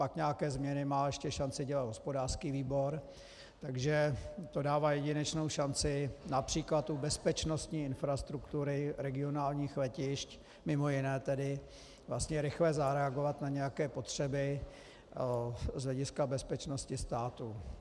Pak nějaké změny má ještě šanci dělat hospodářský výbor, takže to dává jedinečnou šanci například u bezpečnostní infrastruktury regionálních letišť, mimo jiné tedy, vlastně rychle zareagovat na nějaké potřeby z hlediska bezpečnosti státu.